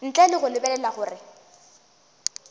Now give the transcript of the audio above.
ntle le go lebelela gore